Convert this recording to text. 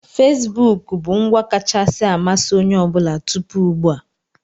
Fesibuku bụ ngwa kacha amasị onye ọ bụla tupu ugbua.